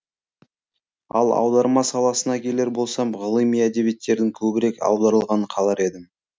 ал аударма саласына келер болсам ғылыми әдебиеттердің көбірек аударылғанын қалар едім